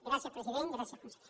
gràcies president gràcies conseller